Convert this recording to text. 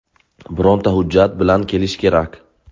Bironta hujjat bilan kelish kerak.